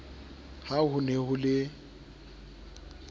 ha ho ne ho le